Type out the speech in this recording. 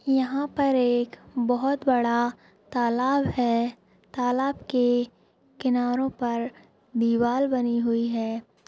यहा पर एक बहुत बड़ा तलाव है तलाव के किनारो पर दीवार बनी हुई है।